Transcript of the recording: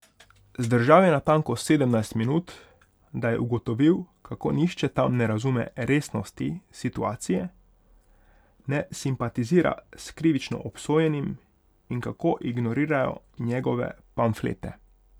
Zdržal je natanko sedemnajst minut, da je ugotovil, kako nihče tam ne razume resnosti situacije, ne simpatizira s krivično obsojenim in kako ignorirajo njegove pamflete.